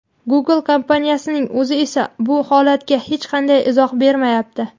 Google kompaniyasining o‘zi esa bu holatga hech qanday izoh bermayapti.